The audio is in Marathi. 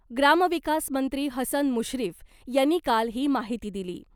ग्रामविकास मंत्री हसन मुश्रीफ यांनी काल ही माहिती दिली .